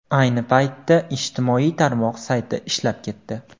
Ayni paytda ijtimoiy tarmoq sayti ishlab ketdi.